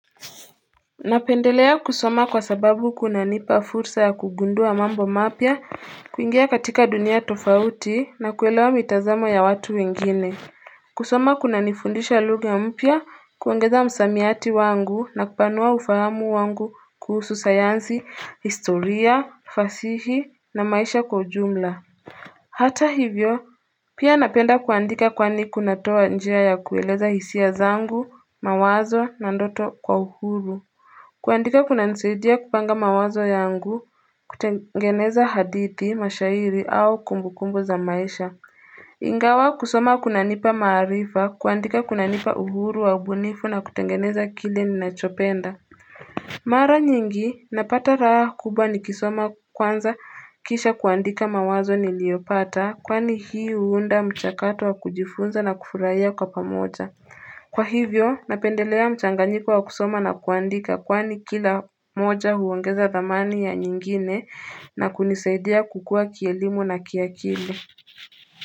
Napendelea kusoma kwa sababu kunanipa fursa ya kugundua mambo mapya kuingia katika dunia tofauti na kuelewa mitazamo ya watu wengine kusoma kunanifundisha lugha mpya kuongeza msamiati wangu na kupanua ufahamu wangu kuhusu sayansi, historia, fasihi na maisha kwa jumla Hata hivyo pia napenda kuandika kwani kunatoa njia ya kueleza hisia zangu, mawazo na ndoto kwa uhuru kuandika kunanisaidia kupanga mawazo yangu, kutengeneza hadithi, mashairi au kumbukumbo za maisha. Ingawa kusoma kunanipa maarifa, kuandika kunanipa uhuru wa ubunifu na kutengeneza kile ninachopenda. Mara nyingi, napata raha kubwa ni kisoma kwanza kisha kuandika mawazo niliopata, kwani hii huunda mchakato wa kujifunza na kufurahia kwa pamoja. Kwa hivyo, napendelea mchanganyiko wa kusoma na kuandika kwani kila moja huongeza dhamani ya nyingine na kunisaidia kukua kielimu na kiakili.